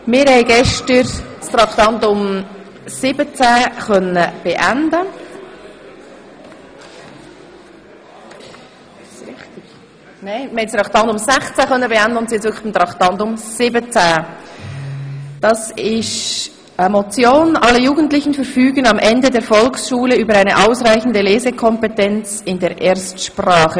Wir konnten gestern Traktandum 16 beenden und sind nun bei Traktandum 17, Motion «Alle Jugendlichen verfügen am Ende der Volksschule über eine ausreichende Lesekompetenz in der Erstsprache!